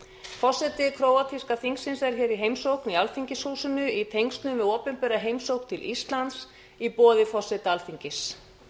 forseti króatíska þingsins er hér í heimsókn í alþingishúsinu í tengslum við opinbera heimsókn til íslands í boði forseta alþingis